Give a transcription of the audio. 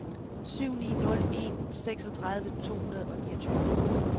syv ni nul en seksogtredive to hundrede og niogtyve